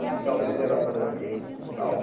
O quintal dele era planinho, um quintal